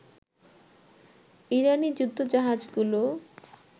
ইরানি যুদ্ধজাহাজগুলো